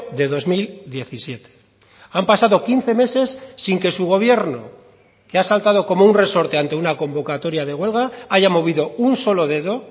de dos mil diecisiete han pasado quince meses sin que su gobierno que ha saltado como un resorte ante una convocatoria de huelga haya movido un solo dedo